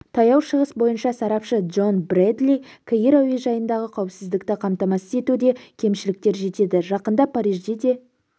таяу шығыс бойынша сарапшы джон брэдли каир әуежайында қауіпсіздікті қамтамасыз етуде кемшіліктер жетеді жақында парижде де